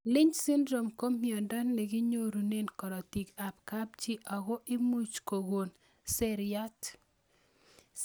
Lynch syndrome ko miondo ne kinyorune karatik ab kapchii ak komuch kokon seriat